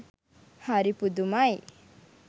හරි පුදුමයි!